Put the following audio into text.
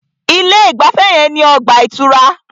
Ilé ìgbafẹ́ yẹn ní ọgbà ìtura.